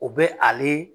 O bɛ ale